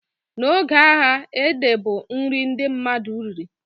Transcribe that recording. Na oge agha, ede bụ nri ndị mmadụ riri